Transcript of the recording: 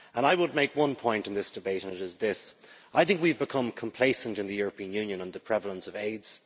I would make one point in this debate and it is this I think we have become complacent in the European Union on the prevalence of AIDS.